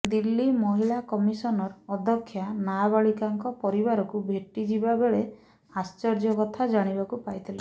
ଦିଲ୍ଲୀମହିଳା କମିସନର ଅଧ୍ୟକ୍ଷା ନାବାଳିକାଙ୍କ ପରିବାରକୁ ଭେଟିଯିବା ବେଳେ ଆଶ୍ଚର୍ଯ୍ୟ କଥା ଜାଣିବାକୁ ପାଇଥିଲେ